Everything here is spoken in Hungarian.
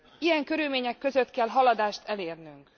Ilyen körülmények között kell haladást elérnünk.